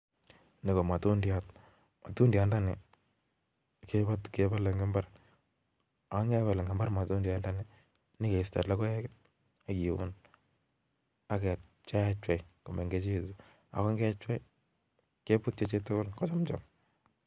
Nii KO matundiat matundianda nii kebale Eng imbar ako kepal. matu Diana nii nikiuni AK.keisto. logoeek.ak kepcheapchei Akeam